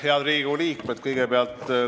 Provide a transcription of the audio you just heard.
Head Riigikogu liikmed!